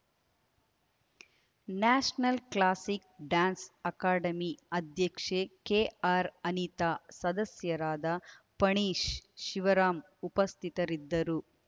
national classic dance academy ಅಧ್ಯಕ್ಷೆ ಕೆಆರ್‌ಅನಿತಾ ಸದಸ್ಯರಾದ ಪಣೀಶ್‌ ಶಿವರಾಮ್‌ ಉಪಸ್ಥಿತರಿದ್ದರು